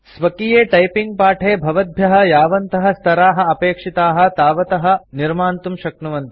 स्वकीये टाइपिंग पाठे भवद्भ्यः यावन्तः स्तराः अपेक्षिताः तावतः निर्मातुं शक्नुवन्ति